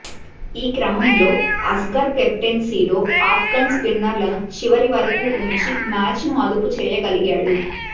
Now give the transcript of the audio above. ఈ క్రమంలో అస్గర్ కెప్టెన్సీలో అఫ్గాన్ స్పిన్నర్లను చివరి వరకూ ఉంచి మ్యాచ్ను అదుపు చేయగలిగాడు